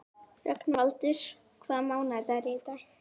Rögnvaldur, hvaða mánaðardagur er í dag?